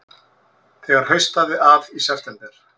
Þegar haustaði að í september